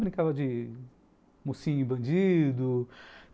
Brincava de mocinho e bandido.